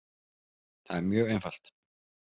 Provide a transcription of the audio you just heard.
Það er mjög einfalt